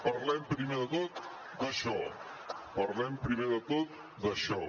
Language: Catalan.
parlem primer de tot d’això parlem primer de tot d’això